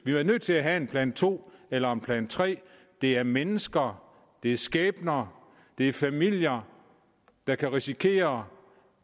vi er nødt til at have en plan to eller plan tredje det er mennesker det er skæbner det er familier der kan risikere